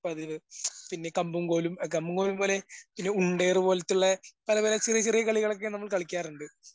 പതിവ്. പിന്നെ കമ്പും കോലും കമ്പുംകോലും പോലെ പിന്നെ ഉണ്ടയേറുപോലത്തെയുള്ളെ അതുപോലെ ചെറിയചെറിയ കളികളൊക്കെ നമ്മൾ കളിക്കാറുണ്ട്.